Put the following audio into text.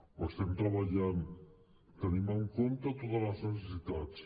hi estem treballant tenim en compte totes les necessitats